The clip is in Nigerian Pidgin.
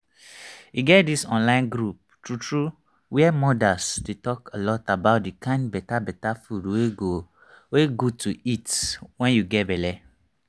e get this online group true true where modas they talk alot about the kind better better food wey good to eat when you get belle